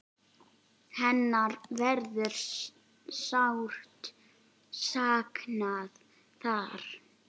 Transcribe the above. Hennar verður sárt saknað þar.